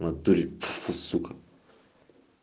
в натуре пф у сука